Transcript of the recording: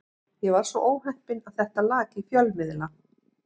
Ég var svo óheppinn að þetta lak í fjölmiðla.